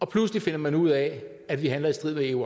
pludselig finder man ud af at vi handler i strid med eu